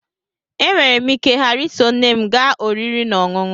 E nwere m ike ghara iso nne m gaa oriri na ọṅụṅụ